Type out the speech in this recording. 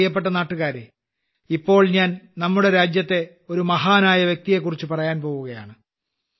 എന്റെ പ്രിയപ്പെട്ട നാട്ടുകാരേ ഇപ്പോൾ ഞാൻ രാജ്യത്തിലെ ഒരു മഹാനായ വ്യക്തിയെക്കുറിച്ച് പറയാൻ പോകുകയാണ്